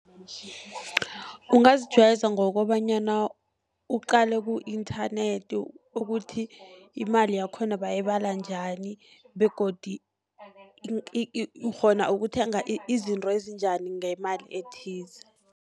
Ungazijayeza ngokobanyana uqale ku-inthanethi, ukuthi imali yakhona bayibala njani begodu ukghona ukuthenga izinto ezinjani ngemali ethize.